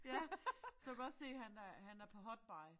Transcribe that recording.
Ja så du kan godt se han er han er på hot buy